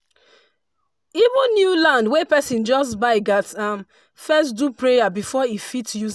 even new land wey person just buy gats um first do prayer before e fit use